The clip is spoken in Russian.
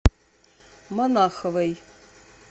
монаховой